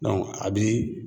a bi